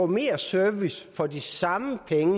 mere service for de samme penge